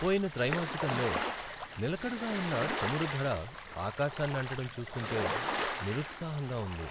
పోయిన త్రైమాసికంలో నిలకడగా ఉన్న చమురు ధర ఆకాశాన్నంటడం చూస్తుంటే నిరుత్సాహంగా ఉంది.